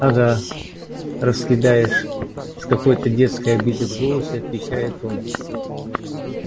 ага раскидаешь с какой-то детской обидой в голосе отвечает он